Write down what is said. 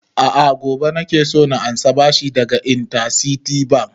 A'a gobe nake so na ansa bashi daga interciti bank